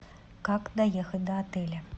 как доехать до отеля